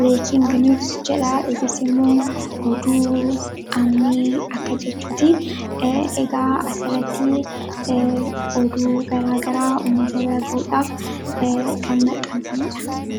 "Breaking News" ni jedha kunis immoo oduu ammee akka waan jechuuti. Egaa asitti oduu garaagaraa uummata biraan gahuudhaaf kan maxxanfamedha.